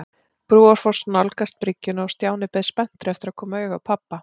Brúarfoss nálgast bryggjuna og Stjáni beið spenntur eftir að koma auga á pabba.